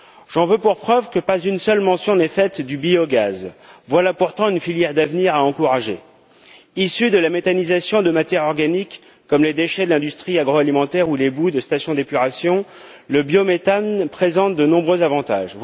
J'en veux pour preuve qu'aucune mention n'est faite du biogaz. Voilà pourtant une filière d'avenir à encourager. Issu de la méthanisation de matières organiques comme les déchets de l'industrie agroalimentaire ou les boues de station d'épuration, le biométhane présente de nombreux avantages.